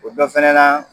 O dɔ fɛnɛ na